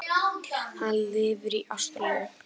Hann lifir í Ástralíu.